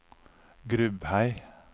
Grubhei